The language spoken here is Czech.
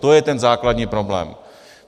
To je ten základní problém.